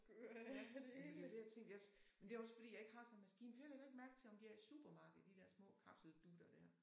Ja men det var det jeg tænkte jeg men det også fordi jeg ikke har sådan en maskine for jeg lægger ikke mærke til om de har de i supermarkedet de der små kapseldutter der